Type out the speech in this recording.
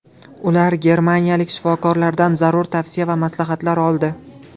Ular germaniyalik shifokorlardan zarur tavsiya va maslahatlar oldi.